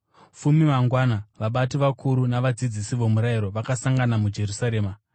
Fume mangwana, vabati, vakuru navadzidzisi vomurayiro vakasangana muJerusarema.